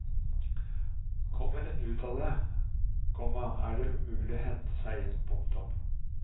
Kommer en ut av det, komma er det umulig å hente seg inn. punktum